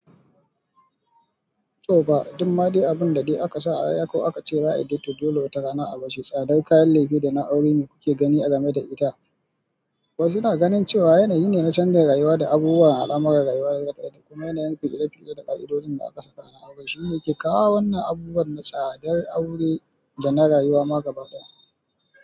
To ba dumma dai abin da dai aka sa a rai ko aka ce za'ayi toh dai dole wata rana a barshi. Tsadar kayan lefe da na aure ne kuke gani game da ita. Wasu na ganin cewa yanayi ne na canza rayuwa da abubuwan al'amuran rayuwa gaba ɗaya, kuma yanayin ku ire-ire da ƙa'idojin da aka saka a aure shine ke kawo wannan abubuwan na tsadar aure da na rayuwa ma gaba ɗaya.